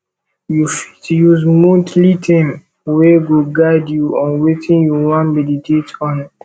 you fit use monthly theme wey go guide you on wetin you wan meditate on